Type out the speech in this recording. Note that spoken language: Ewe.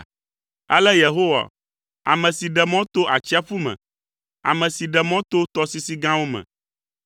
Ale Yehowa, ame si ɖe mɔ to atsiaƒu me, ame si ɖe mɔ to tɔsisi gãwo me,